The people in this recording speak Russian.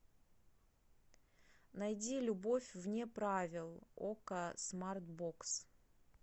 найди любовь вне правил окко смарт бокс